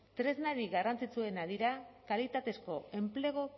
tresnarik garrantzitsuena dira kalitatezko enplegu